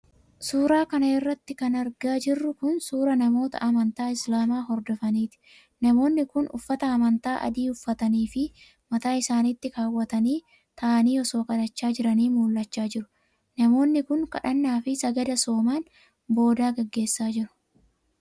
Suura kana irratti kan argaa jirru kun, suura Namoota amantaa islaamaa hordofaniiti. Namoonni kun uffata amantaa adii uffatanii fi mataa isaanitti kaawwatanii, ta'anii osoo kadhachaa jiranii mul'achaa jiru. Namoonni kun, kadhannaa fi sagada sooman boodaa gaggeessa jiru.